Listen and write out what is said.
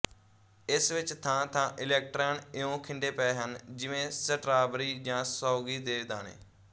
ਇਸ ਵਿੱਚ ਥਾਂਥਾਂ ਇਲੈਕਟ੍ਰਾਨ ਇਉਂ ਖਿੰਡੇ ਪਏ ਹਨ ਜਿਵੇਂ ਸਟਰਾਬਰੀ ਜਾਂ ਸੌਗੀ ਦੇ ਦਾਣੇ